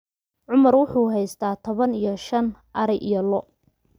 cumar wuxuu haystaa toban iyo shan ari iyo lo'